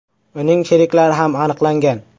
Uning sheriklari ham aniqlangan.